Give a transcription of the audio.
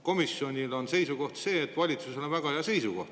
Komisjoni seisukoht on see, et valitsusel on väga hea seisukoht.